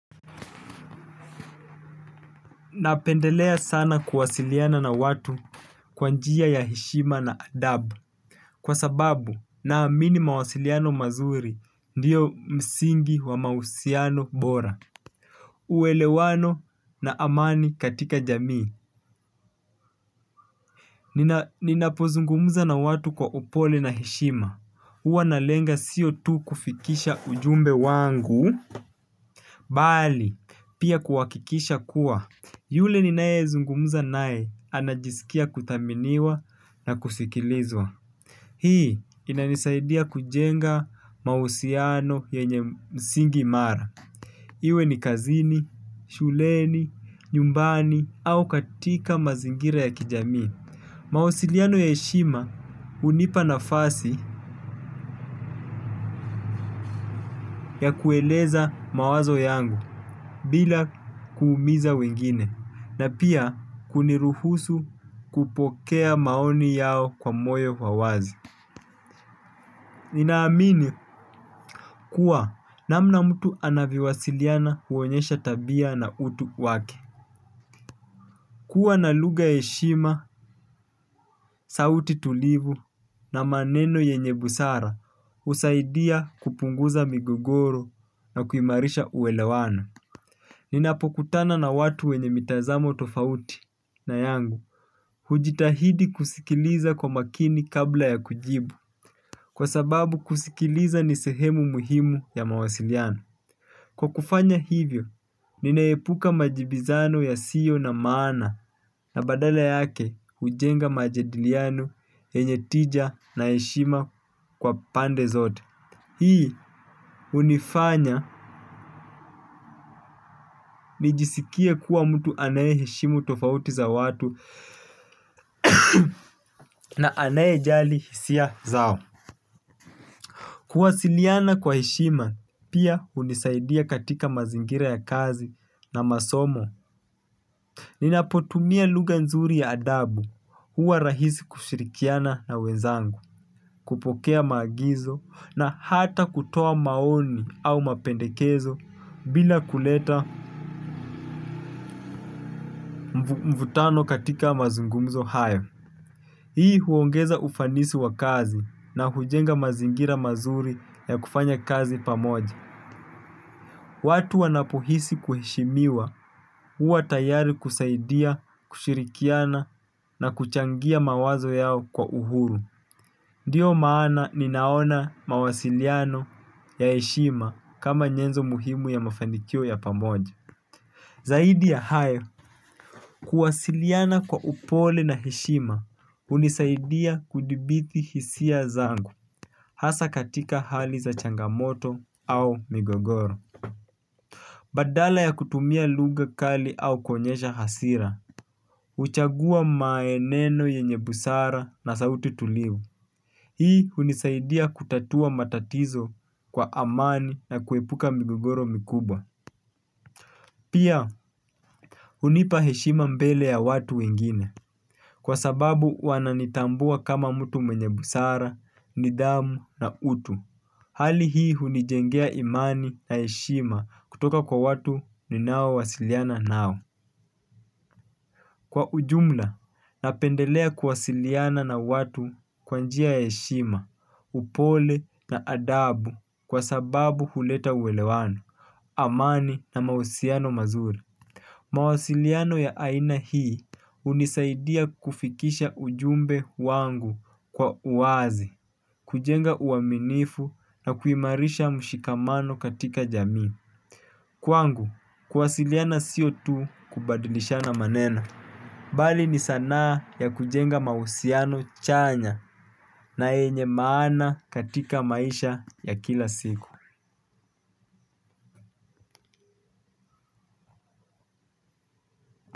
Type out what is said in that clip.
Napendelea sana kuwasiliana na watu kwa njia ya heshima na adabu. Kwa sababu naamini mawasiliano mazuri ndiyo msingi wa mahusiano bora. Uwelewano na amani katika jamii. Ninapozungumuza na watu kwa upole na heshima huwa nalenga sio tu kufikisha ujumbe wangu bali, pia kuhakikisha kuwa yule ninayezungumuza naye anajisikia kuthaminiwa na kusikilizwa. Hii inanisaidia kujenga mahusiano yenye msingi mara. Iwe ni kazini, shuleni, nyumbani au katika mazingira ya kijami. Mawasiliano ya heshima hunipa nafasi ya kueleza mawazo yangu bila kuumiza wengine na pia kuniruhusu kupokea maoni yao kwa moyo wa wazi. Ninaamini kuwa namna mtu anavyowasiliana huonyesha tabia na utu wake. Kuwa na lugha ya heshima, sauti tulivu na maneno yenye busara husaidia kupunguza migogoro na kuimarisha uelewano. Ninapokutana na watu wenye mitazamo tofauti na yangu. Hujitahidi kusikiliza kwa makini kabla ya kujibu. Kwa sababu kusikiliza ni sehemu muhimu ya mawasiliano. Kwa kufanya hivyo, ninaepuka majibizano yasiyo na maana na badala yake hujenga majadiliano yenye tija na heshima kwa pande zote. Hii hunifanya nijisikie kuwa mtu anayeheshimu tofauti za watu. Na anayejali hisia zao. Kuwasiliana kwa heshima, pia hunisaidia katika mazingira ya kazi na masomo. Ninapotumia lugha nzuri ya adabu huwa rahisi kushirikiana na wenzangu kupokea maagizo na hata kutoa maoni au mapendekezo bila kuleta mvutano katika mazungumzo hayo. Hii huongeza ufanisi wa kazi na hujenga mazingira mazuri ya kufanya kazi pamoja. Watu wanapohisi kuheshimiwa huwa tayari kusaidia kushirikiana na kuchangia mawazo yao kwa uhuru. Ndiyo maana ninaona mawasiliano ya heshima kama nyenzo muhimu ya mafanikio ya pamoja. Zaidi ya hayo, kuwasiliana kwa upole na heshima hunisaidia kuthibiti hisia zangu hasa katika hali za changamoto au migogoro. Badala ya kutumia lugha kali au kuonyesha hasira huchagua maneno yenye busara na sauti tulivu. Hii hunisaidia kutatua matatizo kwa amani na kuepuka migogoro mikubwa. Pia hunipa heshima mbele ya watu wengine. Kwa sababu wananitambua kama mtu mwenye busara, nidhamu na utu. Hali hii hunijengea imani na heshima kutoka kwa watu ninao wasiliana nao. Kwa ujumla, napendelea kuwasiliana na watu kwa njia ya heshima, upole na adabu kwa sababu huleta uelewano, amani na mahusiano mazuri. Mawasiliano ya aina hii hunisaidia kufikisha ujumbe wangu kwa uwazi, kujenga uaminifu na kuimarisha mshikamano katika jamii. Kwangu, kuwasiliana sio tu kubadlishana maneno. Bali ni sanaa ya kujenga mahusiano chanya na yenye maana katika maisha ya kila siku.